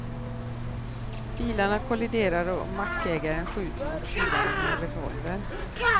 Bilarna kolliderar och mackägaren skjuter mot tjuvarna med en revolver.